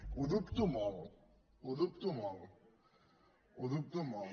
ho dubto molt ho dubto molt ho dubto molt